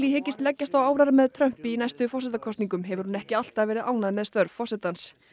hyggist leggjast á árar með Trump í næstu forsetakosningum hefur hún ekki alltaf verið ánægð með störf forsetans